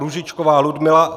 Růžičková Ludmila